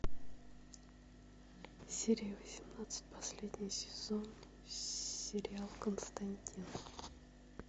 серия восемнадцать последний сезон сериал константин